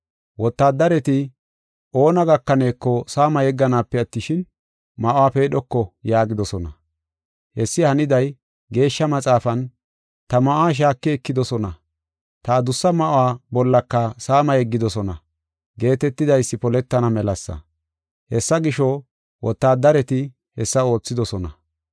Wotaaddareti, “Oona gakaneeko, saama yegganaape attishin, ma7uwa peedhoko” yaagidosona. Hessi haniday Geeshsha Maxaafan, “Ta ma7uwa shaaki ekidosona; ta adussa ma7uwa bollaka saama yeggidosona” geetetidaysi poletana melasa. Hessa gisho, wotaadareti hessa oothidosona.